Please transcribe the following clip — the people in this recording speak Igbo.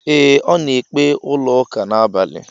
Ee, ọ na ekpe n'ụlọ ụka a n'abalị.